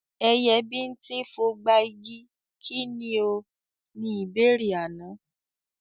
Ẹyẹ bíńtín fogba igi, kí ni o? Ni ìbéèrè àná.